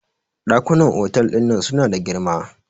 dakunan otal din nan suna da girma